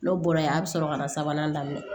N'o bɔra yen a bɛ sɔrɔ ka na sabanan daminɛ